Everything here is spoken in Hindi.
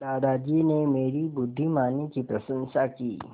दादाजी ने मेरी बुद्धिमानी की प्रशंसा की